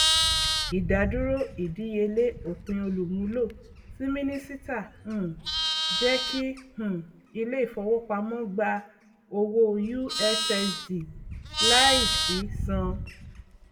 ìdádúró ìdíyelé òpinolùmúlò tí mínísíta um jẹkí um ilé ìfowópamọ gbà owó ussd láìsí san